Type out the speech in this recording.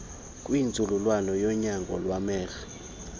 kwinzululwazi yonyango lwamehlo